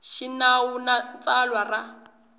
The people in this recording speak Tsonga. xa xinawu na tsalwa ra